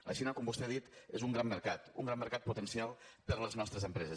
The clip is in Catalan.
la xina com vostè ha dit és un gran mercat un gran mercat potencial per a les nostres empreses